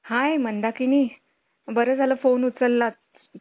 हं याला आली ना franchise दिली ना तुम्ही अजून एक दोन franchise जातील तुमच्या